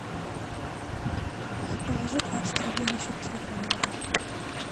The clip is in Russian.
положи двадцать рублей на счет телефона маме